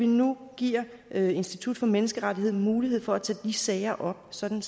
nu giver institut for menneskerettigheder mulighed for at tage de sager op sådan